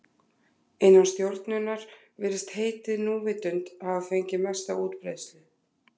Innan stjórnunar virðist heitið núvitund hafa fengið mesta útbreiðslu.